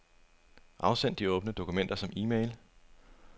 Afsend de åbne dokumenter som e-mail.